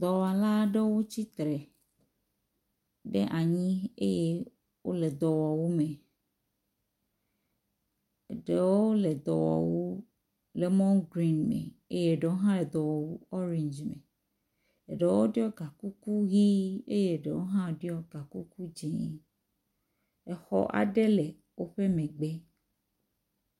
Dɔwɔla aɖewo tsitre ɖe anyi eye wo le dɔwɔwu me. Eɖewo le dɔwɔwu lemɔn grin me eye eɖewo hã le edɔwɔwu orangi me. Eɖewo ɖɔ egakuku ʋi eye eɖewo hã ɖɔ gakuku dzi. exɔ aɖe le woƒe megbe.